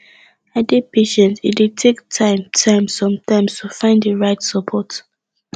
dey patient e dey take time time sometimes to find di right support